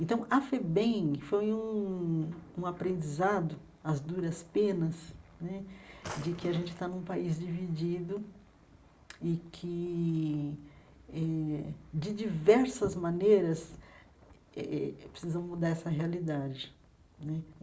Então, a FEBEM foi um um aprendizado, as duras penas né, de que a gente está num país dividido e que eh, de diversas maneiras eh eh eh eh, precisa mudar essa realidade né.